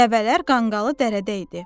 Dəvələr qanqalı dərdə idi.